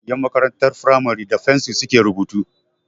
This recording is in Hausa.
Ƴan makarantar firamare da fensir su ke rubutu